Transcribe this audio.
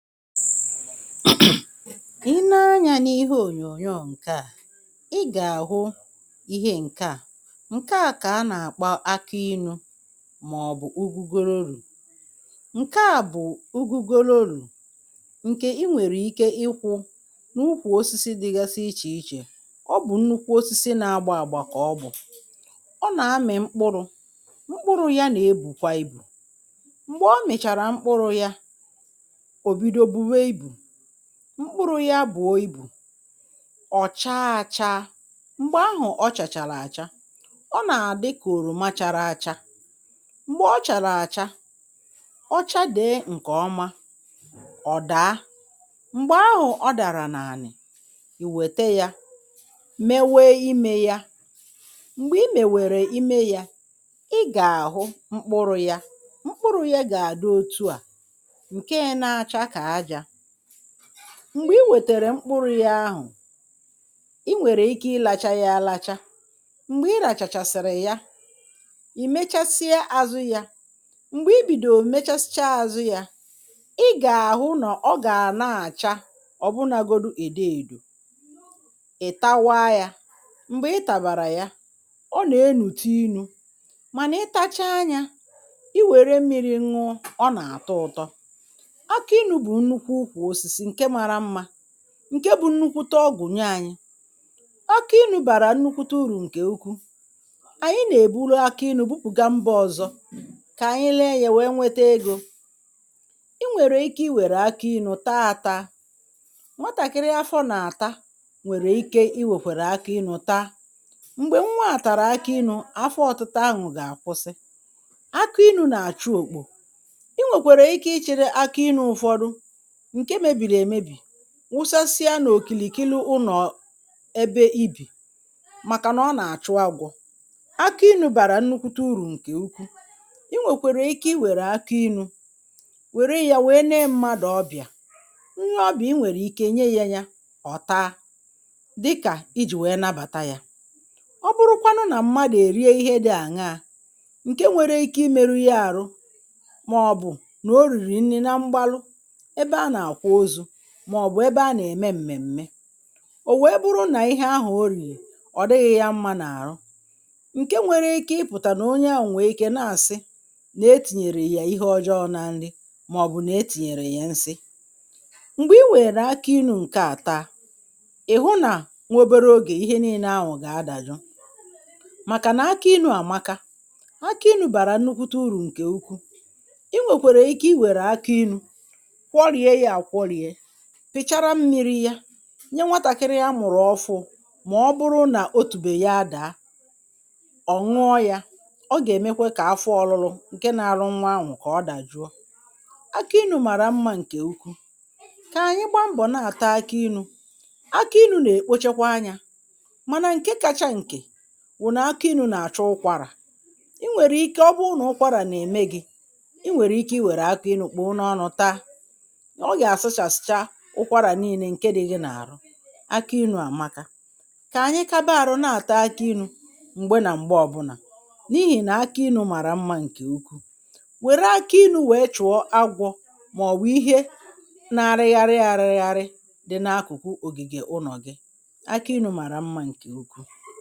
ilee anyā n’ihe ònyònyò a ị gà-àhụ ihe ǹke a ǹke a kà a nà-àkpo aki ilū màọbụ̀ ugwugwerenú ǹke a bụ̀ ugwugwere olulù nkè i nwèrè ike ịkwụ̄ n’ikwù osisi dịgasị ichè ichè ọ bụ̀ nnukwu osisi na-agbà àgba kà ọ bụ̀ ọ nà-amị̀ mkpuru mkpuru ya nà-ebùkwa ibù m̀gbè ọ mị̀chàrà mkpuru ya ò bido bùwe ibù mkpuru ya buo ibù ọ̀ chaa àcha m̀gbè ahụ̀ ọ chàchàrà àcha ọ nà-àdị kà òròma chara àcha m̀gbè ọ chàrà àcha ọ chade ǹkè ọma ọ̀ daa m̀gbè ahụ̀ ọ dàrà n’ànị̀ ì wète ya mewe imē ya m̀gbè i mèwèrè imē ya ị gà-àhụ mkpuru ya mkpuru ya gà adị otu a ǹkè na-acha kà ajā m̀gbè i wètèrè mkpuru ya ahụ̀ i nwèrè ike ilācha ya àlacha m̀gbè ị làchàchàsị̀rị̀ ya ì mechasịa àzụ ya m̀gbè i bìdòrò mechasịcha àzụ ya ị gà-àhụ nà ọ gà na-àcha ọ̀ bụnagodi èdo èdo ị̀tawa ya m̀gbè ị tàbàrà ya ọ nà-erùtu ilū mànà ị tacha ya i wère mmịrị̄ ṅụọ ọ nà-àtọ ụ̀tọ akị ịnụ̄ bụ̀ nnulwu ukwu osis ǹkè mara mmā ǹke nnukwute ọgwụ̀ nye anyị̄ akị inū bàrà nnukwute urù ǹkè ukwuu ànyị nà-èburu akị ịnụ̄ bupugà mbā ọ̀zọ kà anyị lee ya wee wete egō i nwèrè ike i wère akị ịnụ̄ taa àta nwatàkịrị afọ nà-àta nwèrè ike iwèkwèrè akị ịnụ̄ taa m̀gbè nwa tàrà akị ịnụ̄ afọ ọ̀tịta ahụ̀ gà-àkwụsị akị ịnụ̄ nà-àchị òkpò i nwèkèrè ike ịchị̄rị akị ịnụ̄ ụ̀fọdụ ǹke mebìrì èmebì wụsasịa nà okìlìkili ụnọ̀ ebe i bì màkànà ọ nà-àchụ agwọ akị ịnụ̄ bàrà nnukwute urù ǹkè ukwuu i nwèkwèrè ike i wère akị ịnụ̄ wèrè ya wee nee mmadụ ọbịà onye ọbịà i nwèrè ike nye ya ya ọ̀ taa dịkà i jì wee nabàtà ya ọ bụrụkwanụ nà mmadụ̀ èrie ihe dī àṅa ǹke nwere ike imēru ya àrụ màọbụ̀ nà o rìrì nri na mgbalụ ebe a nà-àkwa ozu màọbụ̀ ebe a nà eme m̀mèmme o wee bụrụnà ihe ahụ̀ o rìrì ọ̀ dịghị ya mma n’àrụ ǹkè nwere ikē ịpụ̀tà nà onye ahụ̀ nwèrè ike na-àsị nà etìnyèrè yà ihe ọjọọ na nli màọbụ nà etìnyèrè ya nsi m̀gbè i wèrè akị ịnụ̄ ǹkè a taa ị̀ hụ nà nwa obere ogè ihe niile ahụ̀ gà-adàjụ màkànà akị ilụ àmaka akị inū bàrà nnukwute urù ǹkè ukwu i nwèkwèrè ike i were akị ilū kwọrie yā àkwọrie pị̀chara mmịrị̄ ya nye nwatàkịrị amụ̀rụ̀ ọfụrụ mà ọ bụrụnà otùbè ya daa ọ̀ nụọ ya ọ gà-èmekwe ka afọ ọrụrụ ǹke na-awa nwa ahụ̀ kà ọ dàjụọ akị ilụ màrà mma ǹkè ukwu kà anyị gbaa mgbọ̀ na-àta akị ilū akị ilū nà-èkpochakwa anyā mànà ǹke kacha ǹkè wụ̀nà akị ilū nà-àchụ ụkwarà i nwèrè ike ọ bụrụnà ụkwarà nà-ème gi i nwèrè ike i wère akị ilū kpụ̀rụ n’ọnụ taa ọ gà-àsụchàsịcha ụkwarà niilē ǹke di gi n’ahụ̀ akị inū àmaka kà anyị kaba àrụ na-àta akị inū m̀gbe nà m̀gbe ọ̀ bụnà n’ihì nà akị inū màrà mmā ǹkè ukwu wère akị inū wee chụ̀ọ agwọ màọwụ̀ ihe na-arịgharị àrịgharị di n’akụ̀kụ ògìgè ụnọ̀ gi akị inū màrà mmā ǹkè ukwu